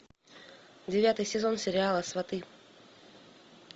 девятый сезон сериала сваты